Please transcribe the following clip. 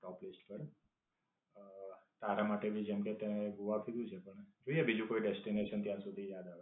ટોપ list પર. અમ તારા માટે ભી જેમકે તે ગોવા કીધું છે પણ છે બીજું કોઈ destination ત્યાં સુધી